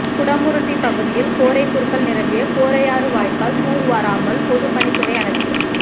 குடமுருட்டி பகுதியில் கோரை புற்கள் நிரம்பிய கோரையாறு வாய்க்கால் தூர்வாராமல் பொதுப்பணித்துறை அலட்சியம்